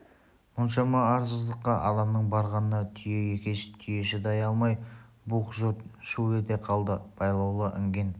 мұншама арсыздыққа адамның барғанына түйе екеш түйе шыдай алмай бух жұрт шу ете қалды байлаулы інген